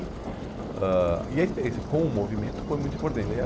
ãh e a experiência com o movimento foi muito importante. E